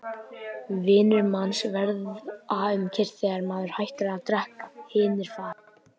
Vinir manns verða um kyrrt þegar maður hættir að drekka, hinir fara.